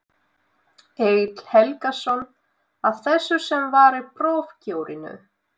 Egill Helgason: Af þessu sem var í prófkjörinu?